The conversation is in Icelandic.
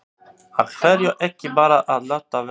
Af hverju ekki bara að láta vaða?